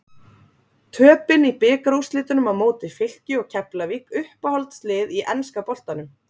Töpin í bikarúrslitunum á móti Fylki og Keflavík Uppáhalds lið í enska boltanum?